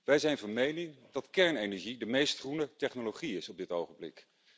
Wij zijn van mening dat kernenergie de meest groene technologie is op dit ogenblik.